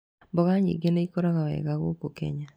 Mboga nyingĩ nĩ ĩkũraga wega gũkũ Kenya.